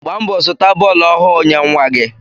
Gbaa mbọ zụta bọọlu ohu nye nwa gi